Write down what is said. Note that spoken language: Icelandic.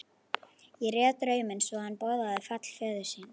Ég réð drauminn svo að hann boðaði fall föður þíns.